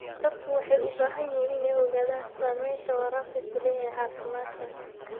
Dadku waxay u baahan yihiin inay ogaadaan saamaynta waraabku ku leeyahay caafimaadka.